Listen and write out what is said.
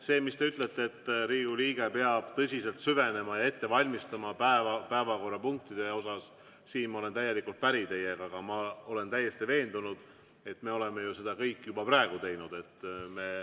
See, mis te ütlete, et Riigikogu liige peab tõsiselt süvenema ja ette valmistuma päevakorrapunktide osas, siin ma olen täielikult päri teiega, aga ma olen täiesti veendunud, et me oleme seda ju kõik juba praegu teinud.